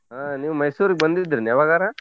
ಹಾ ನೀವ್ ಮೈಸೂರಿಗ್ ಬಂದಿದ್ರನು ಯವಾಗರ?